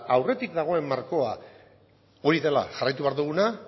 aurretik dagoen markoa hori dela jarraitu behar duguna